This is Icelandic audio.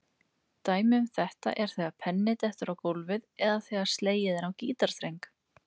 Dæmi um þetta er þegar penni dettur á gólfið eða þegar slegið er á gítarstreng.